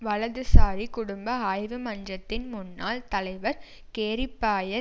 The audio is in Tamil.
வலதுசாரி குடும்ப ஆய்வு மன்றத்தின் முன்னாள் தலைவர் கேரி பாயர்